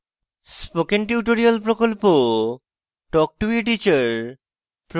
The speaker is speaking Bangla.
spoken tutorial প্রকল্প talk to a teacher প্রকল্পের অংশবিশেষ